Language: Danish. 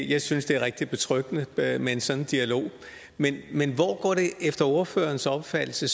jeg synes det er rigtig betryggende med en sådan dialog men men hvor går det efter ordførerens opfattelse